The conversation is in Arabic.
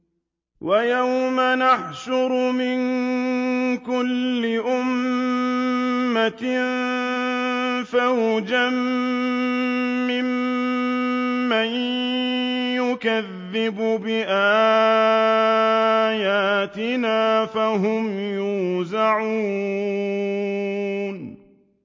وَيَوْمَ نَحْشُرُ مِن كُلِّ أُمَّةٍ فَوْجًا مِّمَّن يُكَذِّبُ بِآيَاتِنَا فَهُمْ يُوزَعُونَ